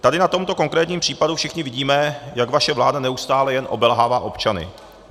Tady na tomto konkrétním případu všichni vidíme, jak vaše vláda neustále jen obelhává občany.